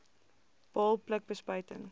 baal pluk bespuiting